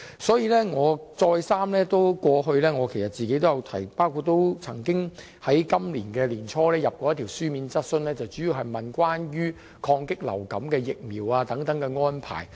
所以，我過去再三提出有關要求，而今年年初亦提出過一項書面質詢，主要是詢問關於對抗流感及提供疫苗等的安排。